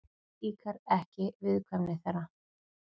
Líkar ekki viðkvæmni þeirra.